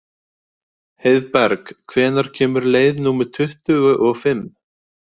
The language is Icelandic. Heiðberg, hvenær kemur leið númer tuttugu og fimm?